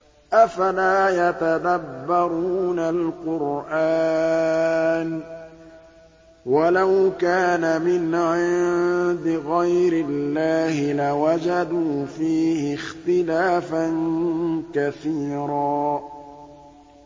أَفَلَا يَتَدَبَّرُونَ الْقُرْآنَ ۚ وَلَوْ كَانَ مِنْ عِندِ غَيْرِ اللَّهِ لَوَجَدُوا فِيهِ اخْتِلَافًا كَثِيرًا